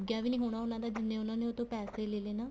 ਲੱਗਿਆ ਵੀ ਹੋਣਾ ਉਹਨਾ ਦਾ ਜਿੰਨੇ ਉਹਨਾ ਨੇ ਉਸ ਤੋਂ ਪੈਸੇ ਲੈਲੇ